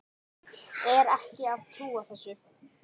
Er ekki að trúa þessu.